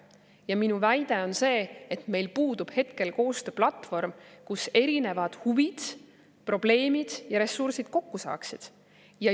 Ja minu väide on see, et meil puudub hetkel koostööplatvorm, kus erinevad huvid, probleemid ja ressursid kokku saaksid.